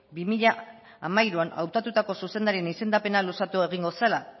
bi mila hamairuan hautatutako zuzendarien izendapena luzatu egingo zela